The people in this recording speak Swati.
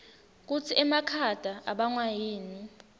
kutsi emakhata abangwa yini